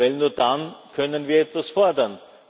denn nur dann können wir etwas fordern.